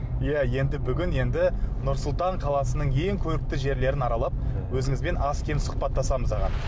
иә енді бүгін енді нұр сұлтан қаласының ең көрікті жерлерін аралап өзіңізбен аз кем сұхбаттасамыз аға